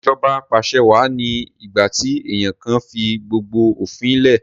Ìṣèjọba Apàṣẹwà ni ìgbà tí èèyàn kan fi gbogbo òfin lẹ̀